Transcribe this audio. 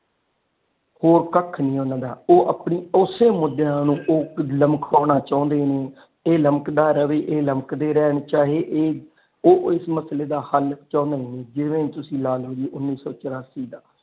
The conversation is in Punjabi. ਹੋਰ ਕੱਖ ਨਹੀ ਓਹਨਾ ਦਾ ਉਹ ਆਪਣੀ ਉਸੀ ਮੁਦਿਆਂ ਨੂੰ ਲਮਕਾਉਣਾ ਚਾਹੁੰਦੇ ਨੇ ਇਹ ਲਮਕਦਾ ਰਵੇ ਇਹ ਲਮਕਦੇ ਰਹਿਣ ਚਾਹੇ ਇਹ ਉਹ ਇਸ ਮਸਲੇ ਦਾ ਹਾਲ ਚਾਹੁੰਦੇ ਨਹੀ ਜਿਵੇ ਹੀ ਤੁਸੀਂ ਲਾ ਲੋ ਉੱਨੀ ਸੋ ਚੋਰਾਸੀ ਦਾ।